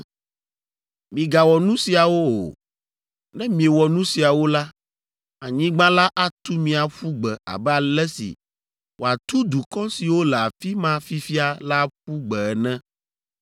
Migawɔ nu siawo o. Ne miewɔ nu siawo la, anyigba la atu mi aƒu gbe abe ale si wòatu dukɔ siwo le afi ma fifia la aƒu gbe ene.